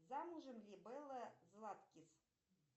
замужем ли бэлла златкис